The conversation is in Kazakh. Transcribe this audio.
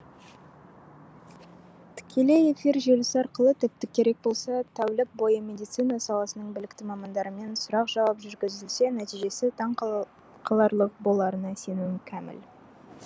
тікелей эфир желісі арқылы тіпті керек болса тәулік бойы медицина саласының білікті мамандарымен сұрақ жауап жүргізілсе нәтижесі таң қаларлық боларына сенімім кәміл